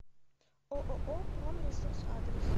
ооо промресурс адрес